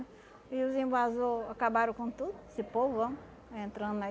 E os invasor acabaram com tudo, esse povão entrando aí.